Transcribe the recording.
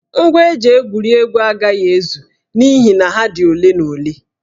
Ngwa eji egwuri egwu agaghị ezu n'ihi na ha dị ole na ole